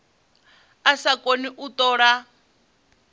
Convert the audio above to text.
a sa koni u tola